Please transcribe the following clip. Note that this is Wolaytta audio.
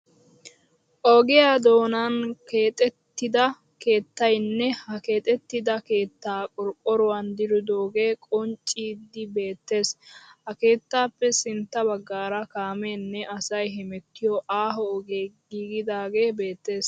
Ogiyaa doonan keexettida keettayinne ha keexettida keettaa qorqqoruwan diridoogee qonccidi beettees. Ha keettaappe sintta baggaara kaameenne asay hemettiyo aaho ogee giigidagee beettees.